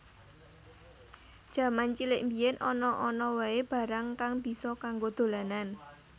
Jaman cilik mbiyen ana ana wae barang kang bisa kanggo dolanan